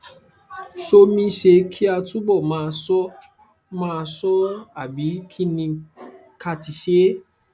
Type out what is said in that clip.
somisṣé kí a túbọ máa ṣọ máa ṣọ ọ àbí kí ni ká ti ṣe